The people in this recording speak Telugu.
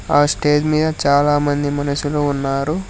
ఆ స్టేజ్ మీద చాలామంది మనుషులు ఉన్నారు.